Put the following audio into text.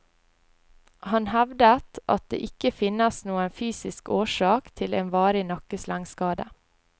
Han hevdet at det ikke finnes noen fysisk årsak til en varig nakkeslengskade.